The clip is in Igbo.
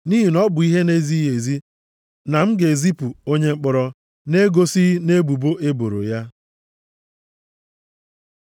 Nʼihi na ọ bụ ihe na-ezighị ezi na m ga-ezipụ onye mkpọrọ na-egosighị nʼebubo e boro ya.”